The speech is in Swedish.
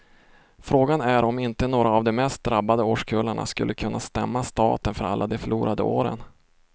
Frågan är om inte några av de mest drabbade årskullarna skulle kunna stämma staten för alla de förlorade åren.